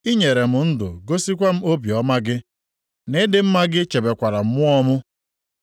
I nyere m ndụ gosikwa m obiọma gị, nʼịdị mma gị chebekwara mmụọ m.